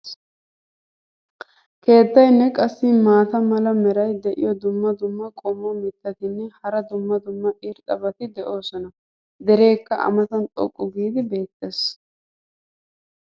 Keettaynne qassi maata mala meray diyo dumma dumma qommo mitattinne hara dumma dumma irxxabati de'oosona. dereekka a matan xoqqu giidi beetees.